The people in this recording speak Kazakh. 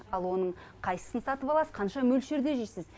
ал оның қайсысын сатып аласыз қанша мөлшерде жейсіз